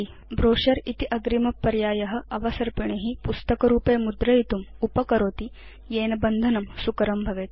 brochure इति अग्रिम पर्याय अवसर्पिणी पुस्तकरूपे मुद्रयितुम् उपकरोति येन बन्धनं सुकरं भवेत्